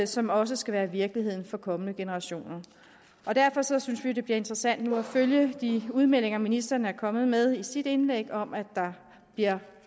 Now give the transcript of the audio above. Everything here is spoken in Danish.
som også skal være virkeligheden for kommende generationer derfor synes vi det bliver interessant nu at følge det de udmeldinger ministeren er kommet med i sit indlæg om at der bliver